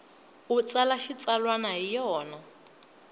u tsala xitsalwana hi yona